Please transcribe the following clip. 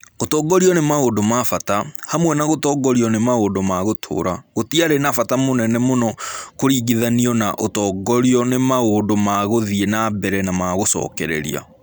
Gũtongorio nĩ maũndũ ma bata, hamwe na gũtongorio nĩ maũndũ ma gũtũũra, gũtiarĩ na bata mũnene mũno kũringithanio na ũtongorio nĩ maũndũ ma gũthiĩ na mbere na ma gũcokereria.